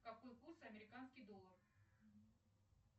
какой курс американский доллар